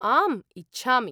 आम्, इच्छामि।